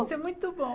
Isso é muito bom.